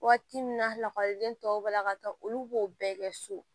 Waati min na lakɔliden tɔw bɛ la ka taa olu b'o bɛɛ kɛ so